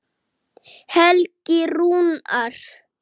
Helgi Rúnar.